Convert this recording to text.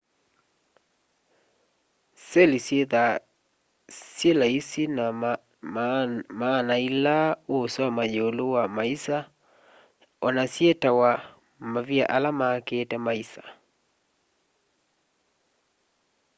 seli syithwaa syi laisi na maana ila uusoma yiulu wa maisa ona syitawa mavia ala makite maisa